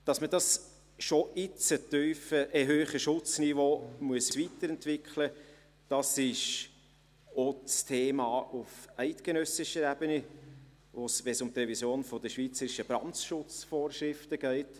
Dass man das schon jetzt hohe Schutzniveau weiterentwickeln muss, ich auch ein Thema auf eidgenössischer Ebene, wenn es um die Revision der schweizerischen Brandschutzvorschriften geht.